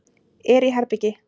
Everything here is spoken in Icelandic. Er í herbergi.